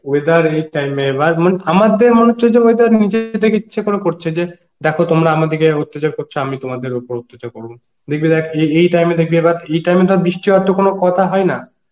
weather এই time এ এবার মান~ আমাদের মনে হচ্ছে যে weather নিজে থেকে ইচ্ছে করে করছে যে, দেখো তোমরা আমাদেরকে এরম অত্তাতাচার করছো আমি তোমাদের ওপর অত্যাচার করবো, দেখবি দেখ এ এই time এ দেখবি এবার এই টাইমে আর তো বৃষ্টি হওয়ার তো কোন কথা হয়না